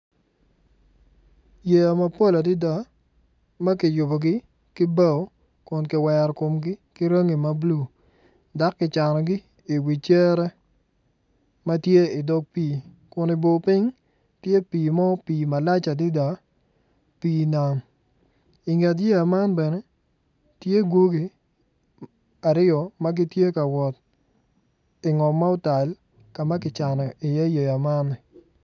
Yeya mapol adada ma kiyubogi ki bao kun kiwero komgi ki rangi ma bulu dok kicanogi i wi cere ma tye i dog pii kun i bor piny tye pii mo pii malac adada pii nam i nget yeya man bene tye gwogi aryo ma gitye ka wot i ngom ma otal ka ma kicano iye yeya man.